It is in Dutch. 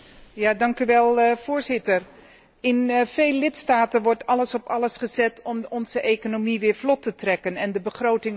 Voorzitter, in veel lidstaten wordt alles op alles gezet om onze economie weer vlot te trekken en de begroting op orde te brengen.